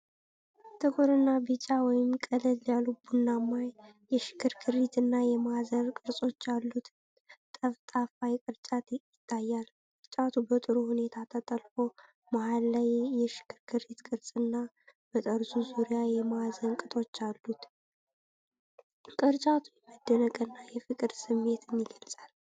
ጥቁርና ቢጫ (ቀለል ያለ ቡናማ) የሽክርክሪትና የማዕዘን ቅርጾች ያሉት ጠፍጣፋ ቅርጫት ይታያል። ቅርጫቱ በጥሩ ሁኔታ ተጠልፎ፣ መሃል ላይ የሽክርክሪት ቅርጽና በጠርዙ ዙሪያ የማዕዘን ቅጦች አሉት። ቅርጫቱ የመደነቅና የፍቅር ስሜትን ይገልፃል።